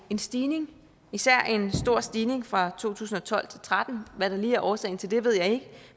en stigning især en stor stigning fra to tusind og tolv til tretten hvad der lige er årsagen til det ved jeg ikke